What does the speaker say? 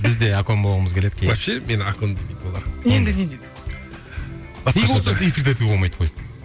біз де акон болғымыз келеді кейде вообще мені акон демейді олар енді не дейді